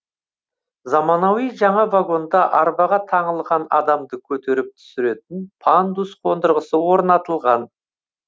заманауи жаңа вагонда арбаға таңылған адамды көтеріп түсіретін пандус қондырғысы орнатылған